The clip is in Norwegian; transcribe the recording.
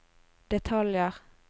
detaljer